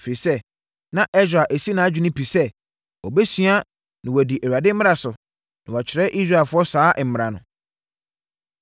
Ɛfiri sɛ, na Ɛsra asi nʼadwene pi sɛ, ɔbɛsua, na wadi Awurade mmara so, na wakyerɛ Israelfoɔ saa mmara no.